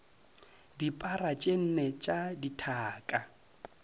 dipara tše nne tša dithaka